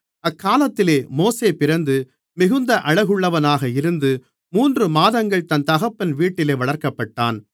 அக்காலத்திலே மோசே பிறந்து மிகுந்த அழகுள்ளவனாக இருந்து மூன்று மாதங்கள் தன் தகப்பன் வீட்டிலே வளர்க்கப்பட்டான்